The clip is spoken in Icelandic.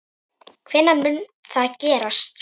Hvenær mun það gerast?